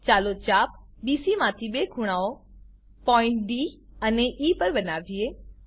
ચાલો ચાપ બીસી માંથી બે ખૂણાઓ પોઈન્ટ ડી અને ઇ પર બનાવીએ